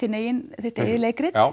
þitt eigið leikrit